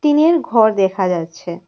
টিনের ঘর দেখা যাচ্ছে।